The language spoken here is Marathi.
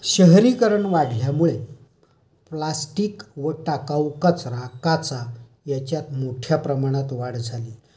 शहरीकरण वाढल्यामुळे प्लास्टिक व टाकावू कचरा, काचा याच्यात मोठ्या प्रमाणात वाढ झाली